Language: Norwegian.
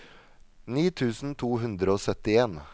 ni tusen to hundre og syttien